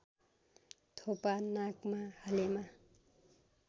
थोपा नाकमा हालेमा